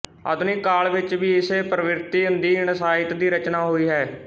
ਆਧੁਨਿਕ ਕਾਲ ਵਿੱਚ ਵੀ ਇਸੇ ਪ੍ਰਵ੍ਰਿਤੀ ਅਧੀਨ ਸਾਹਿਤ ਦੀ ਰਚਨਾ ਹੋਈ ਹੈ